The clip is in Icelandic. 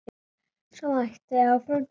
Svo mætti áfram telja.